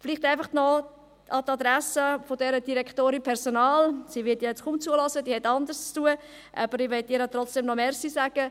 Vielleicht noch an die Adresse der Direktorin Personal – sie wird wohl kaum zuhören, sie hat anderes zu tun: Ich möchte ihr trotzdem noch danke sagen.